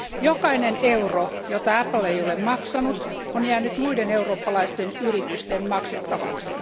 Jokainen euro, jota Apple ei ole maksanut, on jäänyt muiden eurooppalaisten yritysten maksettavaksi.